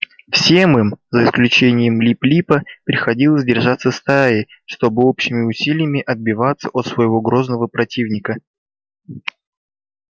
всем им за исключением лип липа приходилось держаться стаей чтобы общими усилиями отбиваться от своего грозного противника